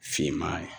Finman